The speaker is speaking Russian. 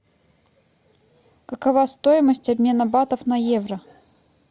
какова стоимость обмена батов на евро